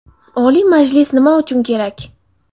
Oliy Majlis nima uchun kerak?